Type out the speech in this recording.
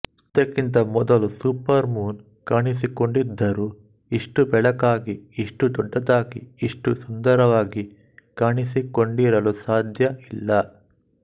ಇದಕ್ಕಿಂತ ಮೊದಲು supermoon ಕಾಣಿಸಿಕೊಂಡಿದ್ದರು ಇಷ್ಟು ಬೆಳಕಾಗಿ ಇಷ್ಟು ದೊಡ್ಡದಾಗಿ ಇಷ್ಟು ಸುಂದರವಾಗಿ ಕಾಣಿಸಿಕೊಂಡಿರಲು ಸಾಧ್ಯ ಇಲ್ಲ